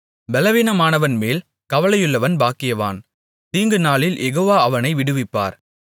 பெலவீனமானவன்மேல் கவலையுள்ளவன் பாக்கியவான் தீங்குநாளில் யெகோவா அவனை விடுவிப்பார்